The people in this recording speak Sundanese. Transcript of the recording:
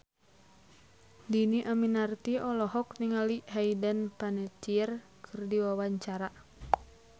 Dhini Aminarti olohok ningali Hayden Panettiere keur diwawancara